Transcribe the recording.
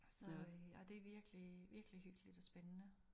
Så øh det virkelig virkelig hyggeligt og spændende